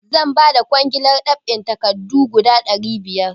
Zan ba da kwangilar ɗab'in takardu guda ɗari biyar.